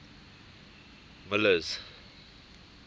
miller's